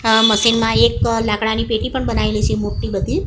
આ મશીન માં એક લાકડાની પેટી પણ બનાવેલી છે મોટી બધી.